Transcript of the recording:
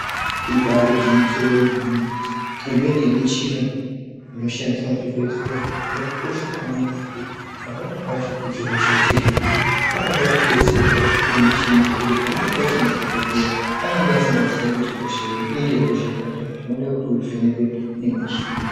Ibari gwinyiso remene imweni yemichina inoshandiswa muzvibhedhlera yakakosha maningi ngekuti pamweni pacho kuti hosha dzirapike panoda kudetserwa nemichini ngekuti pamweni pacho madhokoteya anenge asingazii kuti hosha iyi ihosha yakadii zvinoda uvhenekwe pamuchini.